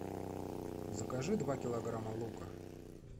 закажи два килограмма лука